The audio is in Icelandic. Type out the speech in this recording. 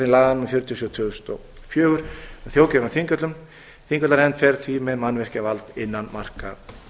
númer fjörutíu og sjö tvö þúsund og fjögur um þjóðgarðinn á þingvöllum þingvallanefnd fer því með mannvirkjavald innan marka